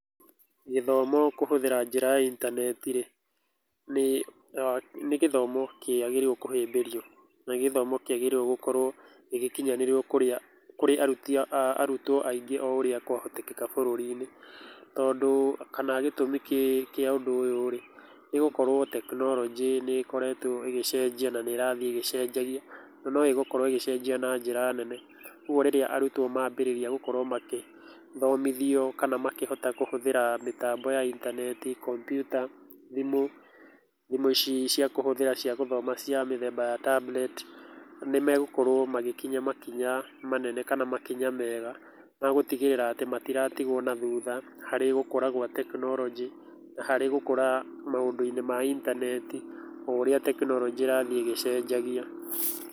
Gĩthomo kũhũthĩra njĩra ya intaneti rĩ, nĩ gĩthomo kĩagĩrĩirwo kũhĩmbĩrio na nĩ gĩthomo kĩagĩrĩirwo gũkorwo gĩgĩkĩnyanĩrio kũrĩ arutwo aingĩ o ũrĩa kwahotekeka bũrũri-inĩ. Tondũ kana gĩtũmi kĩa ũndũ ũyũ rĩ, nĩ gũkorwo tekinoronjĩ nĩ ĩkoretwo ĩgĩcenjia na nĩ ĩrathiĩ ĩgĩcenjagia na no ĩgũkorwo ĩgĩcenjia na njĩra nene. Kwoguo rĩrĩa arutwo mambĩrĩrĩa gũkorwo magĩthomithio kana makĩhota kũhũthĩra mĩtambo ya intaneti, komputa, thimũ, thimũ ici cia kũhũthĩra cia gũthoma cia mĩthemba wa tablet. Nĩ megũkorwo magĩkinya makinya manene kana makinya mega ma gũtigĩrĩra ati matiratigwo nathutha harĩ gũkũra gwa tekinoronjĩ na harĩ gũkũra maũndũ-inĩ ma intaneti, o ũrĩa tekinoronjĩ ĩrathiĩ ĩgĩcenjagia.